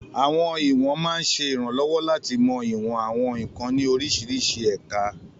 Àwọn ìwọ̀n máa ń ṣe ìrànlọ́wọ́ láti mọ ìwọ̀n àwọn nkan ní oríṣiríṣi ẹ̀ka.